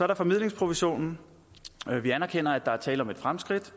der formidlingsprovisionen vi anerkender at der er tale om et fremskridt